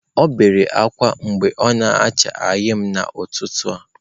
O bere akwa ebe o na-acha eyịm n'ụtụtụ a.